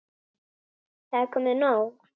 Það er komið nóg.